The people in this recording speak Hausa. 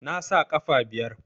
Nasa ƙafa biyar?